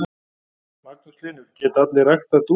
Magnús Hlynur: Geta allir ræktað dúfur?